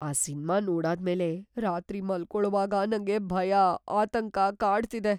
ಆ ಸಿನ್ಮಾ ನೋಡಾದ್ಮೇಲೆ ರಾತ್ರಿ ಮಲ್ಕೊಳುವಾಗ ನಂಗೆ ಭಯ, ಆತಂಕ ಕಾಡ್ತಿದೆ.